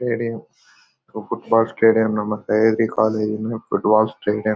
Stadium so football stadium ಮತ್ತೆ football stadium .